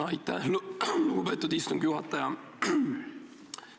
Aitäh, lugupeetud istungi juhataja!